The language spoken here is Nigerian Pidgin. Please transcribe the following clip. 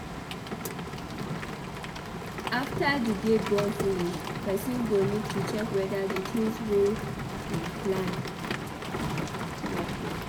After di day don finish person go need to check weda di things wey im plan work well